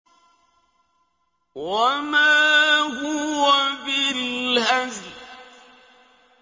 وَمَا هُوَ بِالْهَزْلِ